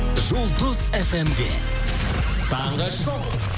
жұлдыз фм де таңғы шоу